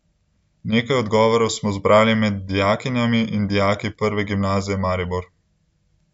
Nekaj odgovorov smo zbrali med dijakinjami in dijaki Prve gimnazije Maribor.